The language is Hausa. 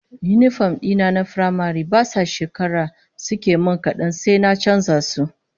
Yinifom dina na firamare ba sa shekara suke min kadan sai an canza su